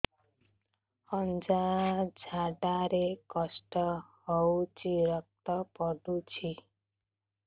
ଅଜ୍ଞା ଝାଡା ରେ କଷ୍ଟ ହଉଚି ରକ୍ତ ପଡୁଛି